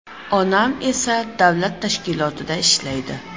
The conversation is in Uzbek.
Onam esa davlat tashkilotida ishlaydi.